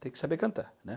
Tem que saber cantar, né?